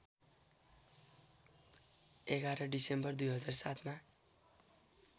११ December २००७ मा